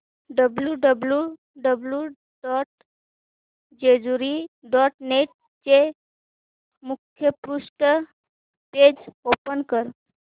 W W W dot Jejuri dot net चे मुखपृष्ठ page open कर